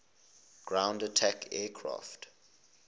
ground attack aircraft